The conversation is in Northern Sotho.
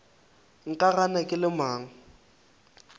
nka gana ke le mang